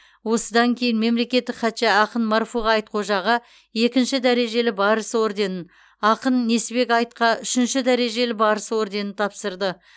осыдан кейін мемлекеттік хатшы ақын марфуға айтхожаға екінші дәрежелі барыс орденін ақын несіпбек айтқа үшінші дәрежелі барыс орденін тапсырды